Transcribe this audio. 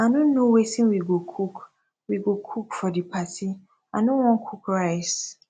i no know wetin we go cook we go cook for the party i no wan cook rice